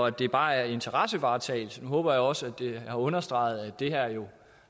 at det bare er interessevaretagelse nu håber jeg også at det er understreget at det her jo